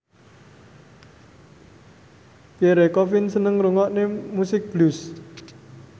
Pierre Coffin seneng ngrungokne musik blues